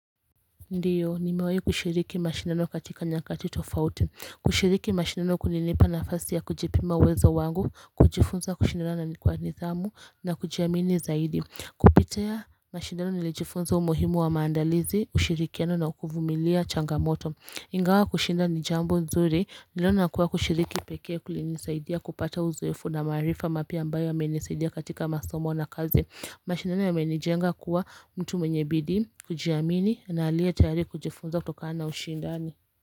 Ndiyo nimewahi kushiriki mashindano katika nyakati tofauti kushiriki mashindano kumenipa nafasi ya kujipima uwezo wangu kujifunza kushindana na kwa nidhamu na kujiamini zaidi kupitia mashindano nilijifunza umuhimu wa maandalizi ushirikiano na kuvumilia changamoto Ingawa kushinda ni jambo nzuri niliona kuwa kushiriki pekee kulinisaidia kupata uzoefu na maarifa mapya ambayo yamenisaidia katika masomo na kazi mashindano yamenijenga kuwa mtu mwenye bidii kujiamini na aliye tayari kujifunza kutokana na ushindano.